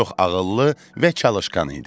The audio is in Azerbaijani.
Çox ağıllı və çalışqan idi.